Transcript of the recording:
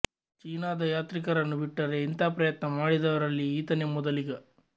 ಚೀನದ ಯಾತ್ರಿಕರನ್ನು ಬಿಟ್ಟರೆ ಇಂಥ ಪ್ರಯತ್ನ ಮಾಡಿದವರಲ್ಲಿ ಈತನೇ ಮೊದಲಿಗ